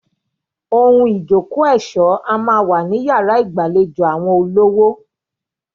Ohun ìjókòó ẹ̀ṣọ́ a máa wà ní yàrá ìgbàlejò àwọn olówó.